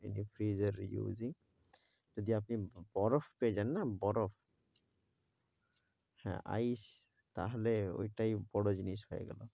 freeze এর using যদি আপনি বরফ পেয়ে যান না বরফ হ্যাঁ ice তাহলে ওইটাই বড় জিনিস হয়ে গেল।